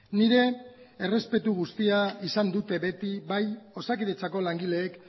nire errespetu guztia izan dute beti bai osakidetzako langileek